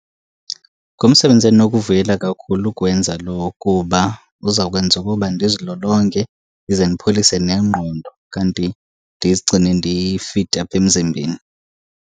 Ngumsebenzi endinokuwuvuyela kakhulu ukuwenza lowo kuba uzawukwenza ukuba ndizilolonge ize ndipholise nengqondo kanti ndizigcine ndifithi apha emzimbeni.